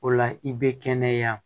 O la i bɛ kɛnɛya